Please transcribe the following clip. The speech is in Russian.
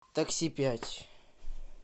такси пять